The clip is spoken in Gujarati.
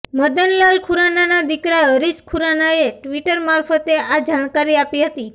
મદનલાલ ખુરાનાના દીકરા હરીશ ખુરાનાએ ટ્વિટર મારફતે આ જાણકારી આપી હતી